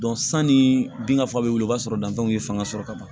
sanni binfa bɛ wuli i b'a sɔrɔ danfaraw ye fanga sɔrɔ ka ban